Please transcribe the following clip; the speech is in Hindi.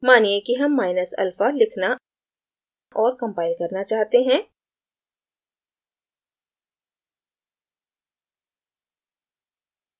मानिए कि हम माइनस alpha लिखना और compile करना चाहते हैं